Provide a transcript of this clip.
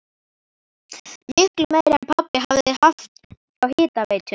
Miklu meira en pabbi hafði haft hjá hitaveitunni!